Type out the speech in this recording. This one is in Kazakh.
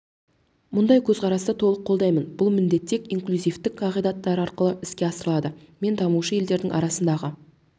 мұндай көзқарасты толық қолдаймын бұл міндет тек инклюзивтік қағидаттары арқылы іске асырылады мен дамушы елдердің арасындағы